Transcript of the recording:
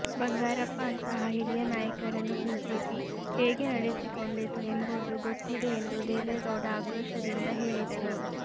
ಬಂಗಾರಪ್ಪ ಅಂತಹ ಹಿರಿಯ ನಾಯಕರನ್ನು ಬಿಜೆಪಿ ಹೇಗೆ ನಡೆಸಿಕೊಂಡಿತು ಎಂಬುದು ಗೊತ್ತಿದೆ ಎಂದು ದೇವೇಗೌಡ ಆಕ್ರೋಶದಿಂದ ಹೇಳಿದರು